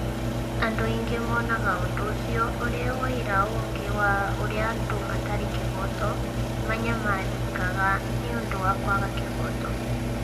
Andũ aingĩ monaga ũndũ ũcio ũrĩ ũira ũngĩ wa ũrĩa andũ matarĩ kĩhooto manyamarĩkaga nĩ ũndũ wa kwaga kĩhooto.